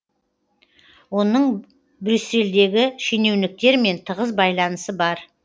оның брюссельдегі шенеуніктермен тығыз байланысы бар